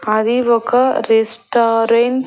అది ఒక రెస్టారెంట్ .